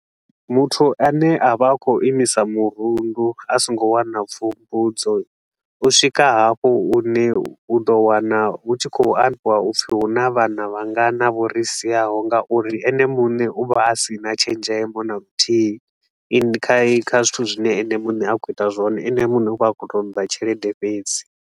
Muthu a ne a vha a khou imisa murundu a so ngo wana pfufhudzo. U swika hafho hune u do wana hu tshi khou ambiwa upfi hu na vhana vhangana vho ri siaho nga uri ene mune u vha a si na tshenzhemo na luthihi kha kha zwithu zwine ene mune a khou ita zwone, ene mune u vha a tshi khou toda tshelede fhedzi.